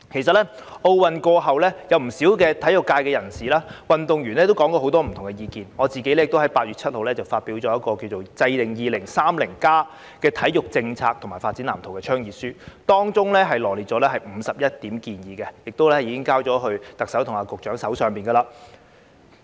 在奧運過後，不少體育界人士及運動員提出了很多不同意見，而我亦在8月7日發表一份題為"制定 2030+ 體育政策及發展藍圖"的倡議書，當中羅列51項建議，並已交到特首和局長手上。